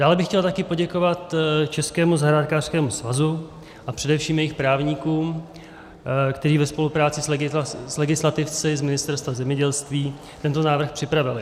Dále bych chtěl také poděkovat Českému zahrádkářském svazu a především jejich právníkům, kteří ve spolupráci s legislativci z Ministerstva zemědělství tento návrh připravili.